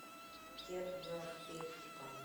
террапевтика